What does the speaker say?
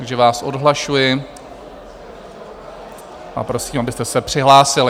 Takže vás odhlašuji a prosím, abyste se přihlásili.